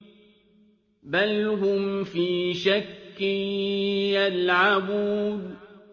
بَلْ هُمْ فِي شَكٍّ يَلْعَبُونَ